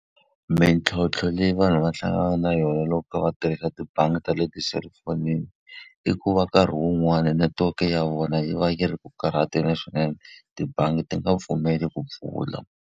Mintlhontlho leyi vanhu va hlanganaka na yona loko ka va tirhisa tibangi ta le tiselufoni, i ku va nkarhi wun'wani netiweke ya vona yi va yi ri ku karhateni swinene, tibangi ti nga pfumeli ku pfula.